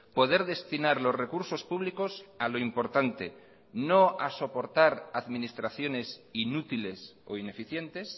poder destinar los recursos públicos a lo importante no a soportar administraciones inútiles o ineficientes